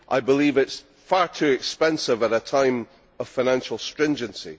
I believe it is far too expensive at a time of financial stringency.